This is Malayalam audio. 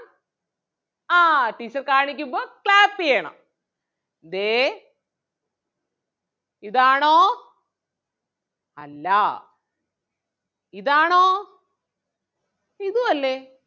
ആ teacher കാണിക്കുമ്പോൾ clap ചെയ്യണം ദേ ഇതാണോ അല്ലാ ഇതാണോ ഇതും അല്ലേ?